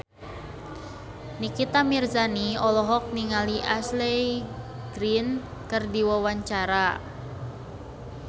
Nikita Mirzani olohok ningali Ashley Greene keur diwawancara